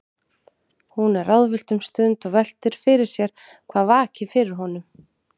Hún er ráðvillt um stund og veltir fyrir sér hvað vaki fyrir honum.